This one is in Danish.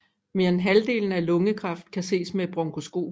Mere end halvdelen af al lungekræft kan ses med et bronkoskop